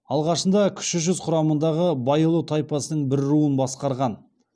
алғашында кіші жүз құрамындағы байұлы тайпасының бір руын басқарған